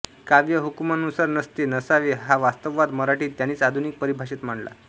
काव्य हुकुमानुसार नसते नसावे हा वास्तववाद मराठीत त्यांनीच आधुनिक परिभाषेत मांडला